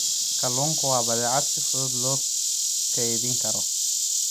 Kalluunku waa badeecad si fudud loo kaydin karo.